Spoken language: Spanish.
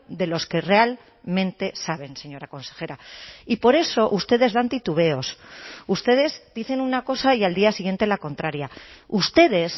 de los que realmente saben señora consejera y por eso ustedes dan titubeos ustedes dicen una cosa y al día siguiente la contraria ustedes